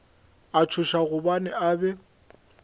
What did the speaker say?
a tšhoša gobane a be